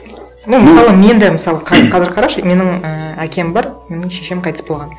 ну мысалы мен де мысалы қазір қарашы менің і әкем бар менің шешем қайтыс болған